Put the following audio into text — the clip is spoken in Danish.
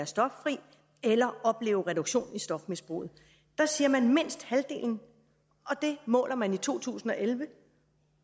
stoffri eller opleve reduktion i stofmisbruget der siger man mindst halvdelen det måler man i to tusind og elleve